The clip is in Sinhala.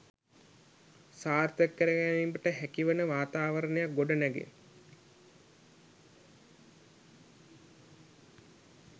සාර්ථක කර ගැනීමට හැකිවන වාතාවරණයක් ගොඩනැගේ.